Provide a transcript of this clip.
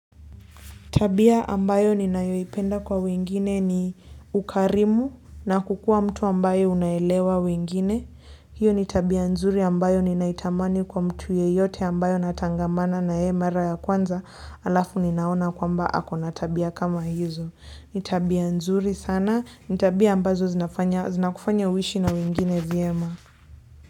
Tabia ambayo ninayoipenda kwa wengine ni ukarimu na kuwa mtu ambaye unaelewa wengine. Hiyo ni tabia nzuri ambayo ninaitamani kwa mtu yeyote ambaye natangamana naye mara ya kwanza alafu ninaona kwamba ako na tabia kama hizo. Ni tabia nzuri sana. Ni tabia ambazo zinakufanya uishi na wengine vyema.